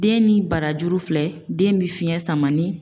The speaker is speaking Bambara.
Den ni barajuru filɛ, den bɛ fiɲɛ sama ni